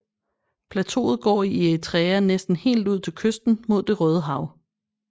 Plateauet går i Eritrea næsten helt ud til kysten mod Det Røde Hav